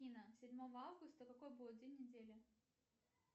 афина седьмого августа какой будет день недели